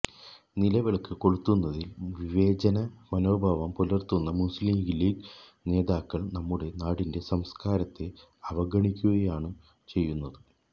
നിലവിളക്ക് കൊളുത്തുന്നതില് വിവേചന മനോഭാവം പുലര്ത്തുന്ന മുസ്ലീംലീഗ് നേതാക്കള് നമ്മുടെ നാടിന്റെ സംസ്കാരത്തെ അവഗണിക്കുകയാണ് ചെയ്യുന്നത്